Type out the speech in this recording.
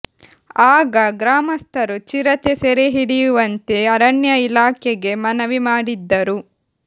ಆಗ ಗ್ರಾಮಸ್ಥರು ಚಿರತೆ ಸೆರೆ ಹಿಡಿಯುವಂತೆ ಅರಣ್ಯ ಇಲಾಖೆಗೆ ಮನವಿ ಮಾಡಿದ್ದರು